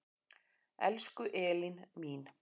Elsku Elín mín.